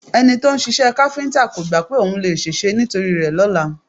Ẹni to ń ṣiṣẹ́ káfíńtà kò gbá pé ohun lè ṣèṣe nítorí rẹ lọ́la